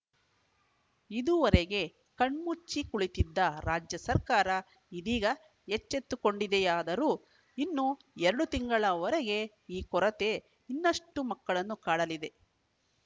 ಇದುವರೆಗೆ ಕಣ್ಮುಚ್ಚಿ ಕುಳಿತಿದ್ದ ರಾಜ್ಯ ಸರ್ಕಾರ ಇದೀಗ ಎಚ್ಚೆತ್ತುಕೊಂಡಿದೆಯಾದರೂ ಇನ್ನೂ ಎರಡು ತಿಂಗಳವರೆಗೆ ಈ ಕೊರತೆ ಇನ್ನಷ್ಟುಮಕ್ಕಳನ್ನು ಕಾಡಲಿದೆ